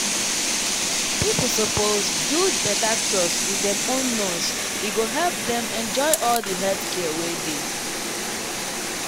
people suppose build better trust wit dem own nurse e go help dem enjoy all di health care wey dey.